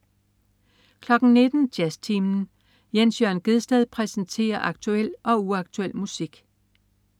19.00 Jazztimen. Jens Jørn Gjedsted præsenterer aktuel og uaktuel musik